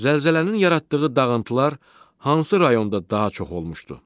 Zəlzələnin yaratdığı dağıntılar hansı rayonda daha çox olmuşdu?